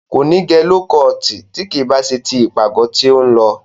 Kò ní gẹ ló kọọ̀tì tí kì í bá ṣe ti ìpàgọ́ tí ó ń lọ.